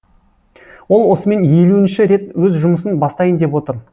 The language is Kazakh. ол осымен елуінші рет өз жұмысын бастайын деп отыр